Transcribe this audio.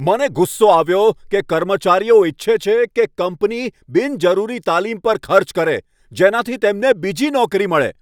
મને ગુસ્સો આવ્યો કે કર્મચારીઓ ઈચ્છે છે કે કંપની બિનજરૂરી તાલીમ પર ખર્ચ કરે, જેનાથી તેમને બીજી નોકરી મળે.